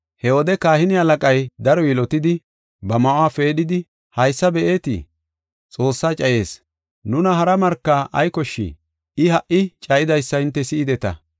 He wode kahine halaqay daro yilotidi ba ma7uwa peedhidi, “Haysa be7ite Xoossaa cayis! Nuna hara marka ay koshshii? I ha77i cayidaysa hinte si7ideta.